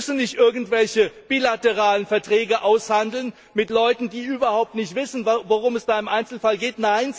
Sie müssen nicht irgendwelche bilateralen Verträge aushandeln mit Leuten, die überhaupt nicht wissen, worum es im Einzelfall geht.